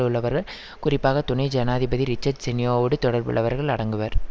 உள்ளவர்கள் குறிப்பாக துணை ஜனாதிபதி ரிச்சர்ட் செனியோஓடு தொடர்புள்ளவர்கள் அடங்குவர்